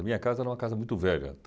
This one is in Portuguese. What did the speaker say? A minha casa era uma casa muito velha.